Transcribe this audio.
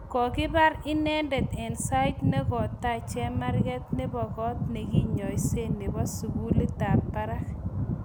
kokibar inendet eng sait nokotai chemarget nebo kot nekinyoisee neboo sugulit ab barak